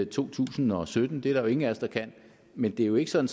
to tusind og sytten det er der jo ingen af os der kan men det er jo ikke sådan